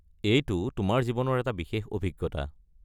এইটো তোমাৰ জীৱনৰ এটা বিশেষ অভিজ্ঞতা।